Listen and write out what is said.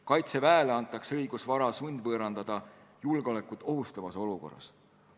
Kaitseväele antakse õigus vara sundvõõrandada julgeolekut ohustavas olukorras.